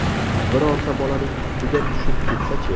Birorta bolaning ustiga tushib ketsa-chi?